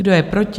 Kdo je proti?